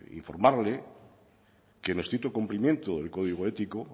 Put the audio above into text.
informarle que en estricto cumplimiento del código ético